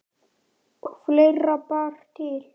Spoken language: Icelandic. Og fleira bar til.